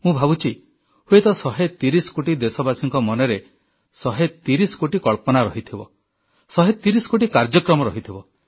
ମୁଁ ଭାବୁଛି ହୁଏତ 130 କୋଟି ଦେଶବାସୀଙ୍କ ମନରେ 130 କୋଟି କଳ୍ପନା ରହିଥିବ 130 କୋଟି କାର୍ଯ୍ୟକ୍ରମ ରହିଥିବ